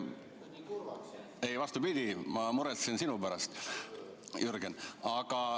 Ei, vastupidi, ma muretsen sinu pärast, Jürgen.